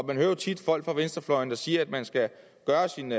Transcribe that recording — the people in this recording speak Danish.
man hører jo tit folk fra venstrefløjen sige at man skal gøre sin